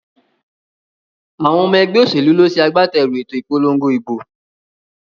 Àwon omo egbé òsèlú ló se agbáterù èto ìpolongo ìbò